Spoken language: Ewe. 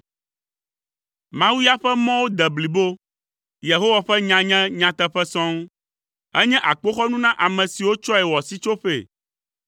Mawu ya ƒe mɔwo de blibo, Yehowa ƒe nya nye nyateƒe sɔŋ. Enye akpoxɔnu na ame siwo tsɔe wɔ sitsoƒee.